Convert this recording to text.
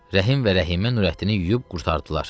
Rəhim və Rəhimə Nurəddini yuyub qurtardılar.